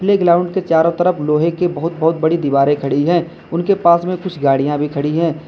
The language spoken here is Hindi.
प्लेग्राउंड के चारों तरफ लोहे के बहुत बहुत बड़ी दीवारें खड़ी है उनके पास में कुछ गाड़ियां भी खड़ी है।